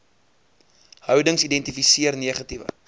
houdings identifiseer negatiewe